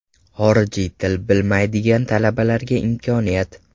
Xorijiy til bilmaydigan talabalarga imkoniyat.